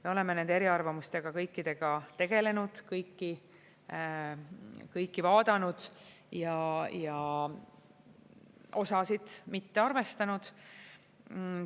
Me oleme nende eriarvamustega kõikidega tegelenud, kõiki vaadanud ja osasid mitte arvestanud.